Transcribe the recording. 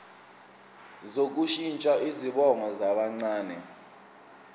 sokushintsha izibongo zabancane